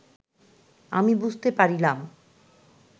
আমি বুঝিতে পারিলাম